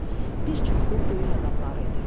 Bir çoxu böyük adamlar idi.